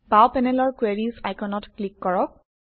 বাওঁ পেনেলৰ কোয়াৰিজ আইকনত ক্লিক কৰক